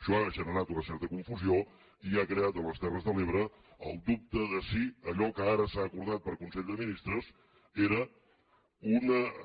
això ha generat una certa confusió i ha creat a les terres de l’ebre el dubte de si allò que ara s’ha acordat per consell de ministres era